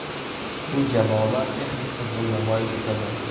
Bu jamoalar texnik futbol namoyish etadi.